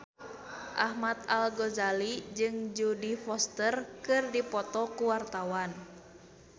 Ahmad Al-Ghazali jeung Jodie Foster keur dipoto ku wartawan